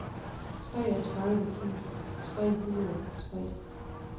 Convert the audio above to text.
treogtredive tusind tre hundrede og tre